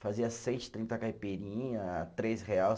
Fazia seis, trinta caipirinha, três reais